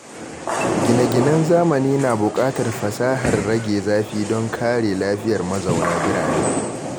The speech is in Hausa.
Gine-ginen zamani na buƙatar fasahar rage zafi don kare lafiyar mazauna birane.